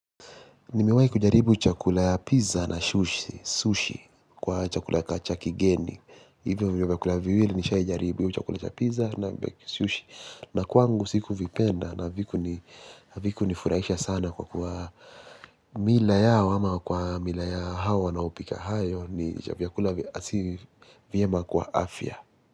Nimewai kujaribu chakula cha pizza na sushi kwa chakula cha kigeni. Hivyo vyakula viwili nishawai kujaribu chakula cha piza na sushi. Na kwangu sikuvipenda na viku nifuraisha sana kwa mila yao ama kwa mila ya hao wanao pika hayo ni chakula vyema kwa afya.